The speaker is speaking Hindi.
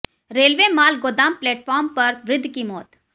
रेलवे माल गोदाम प्लेटफार्म पर वृद्ध की मौत